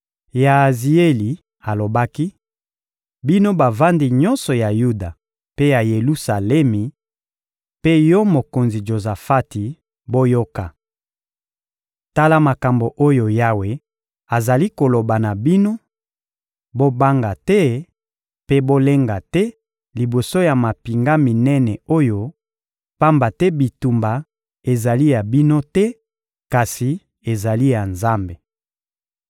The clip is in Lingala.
Yaazieli alobaki: «Bino bavandi nyonso ya Yuda mpe ya Yelusalemi, mpe yo mokonzi Jozafati, boyoka! Tala makambo oyo Yawe azali koloba na bino: ‹Bobanga te mpe bolenga te liboso ya mampinga minene oyo, pamba te bitumba ezali ya bino te kasi ezali ya Nzambe.